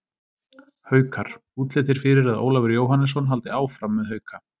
Haukar: Útlit er fyrir að Ólafur Jóhannesson haldi áfram með Hauka.